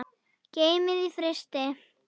Geymið í frysti.